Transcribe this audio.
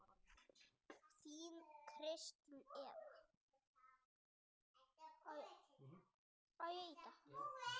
Þín Kristín Eva.